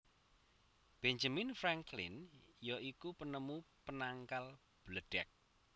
Benjamin Franklin ya iku penemu penangkal bledheg